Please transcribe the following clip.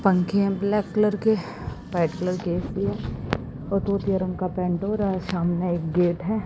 पंखे है black colour के व्हाइट कलर के हो रहा है सामने एक गेट है।